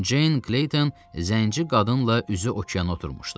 Ceyn Klexton, zənci qadınla üzü okeana oturmuşdu.